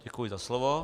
Děkuji za slovo.